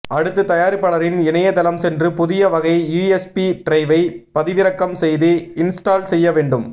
அடுத்து தயாரிப்பாளரின் இணையதளம் சென்று புதிய வகை யுஎஸ்பி டிரைவை பதிவிறக்கம் செய்து இன்ஸ்டால் செய்ய வேண்டும்